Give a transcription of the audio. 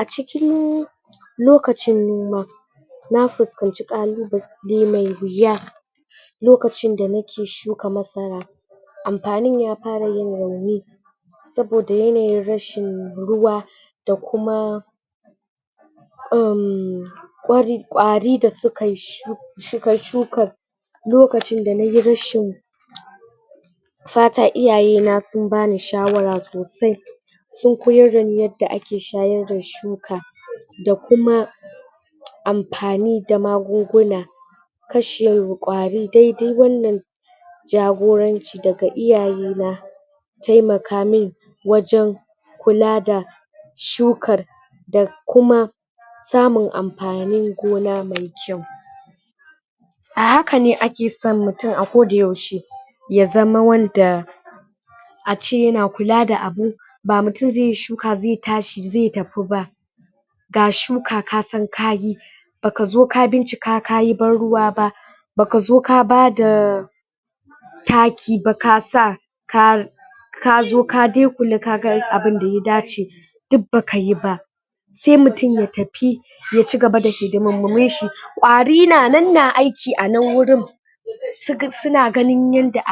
A cikin lokacin noma, na fuscanci kallubalai me wuya lokacin da nake shuka masara amfanin ya fara yin rauni saboda yanayin rashin ruwa da kuma kwari da suka shuka lokacin da nayi rashin fata iyaye na su bane shawara sosai sun koyar da ne ind ake shayar da shuka da kuma amfani da magunguna kashe kwari dai dai wannan jagoranci daga iyaye na taimaka mun wajen kula da shukar da kuma samun amfanin gona me kyau. A hakan ne ake son mutum a ko da yaushe, ya zama wanda a ce yana kula da abu ba mutum ze shuka, ze tashi, ze tafi ba ga shuka ka san kayi, baka zo ka bincika ka barruwa ba ba ka zo ka bada taki ba kasa ka kazo ka dai kula ka ga abun da ya dace duk baka yi ba sai mutum ya tafi, ya cigaba da hidimomin shi, kwari na nan na aiki a nan wurin suna ganen yadda